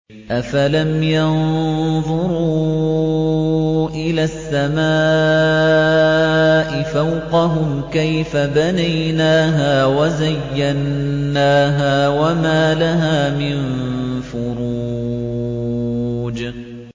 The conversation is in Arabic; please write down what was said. أَفَلَمْ يَنظُرُوا إِلَى السَّمَاءِ فَوْقَهُمْ كَيْفَ بَنَيْنَاهَا وَزَيَّنَّاهَا وَمَا لَهَا مِن فُرُوجٍ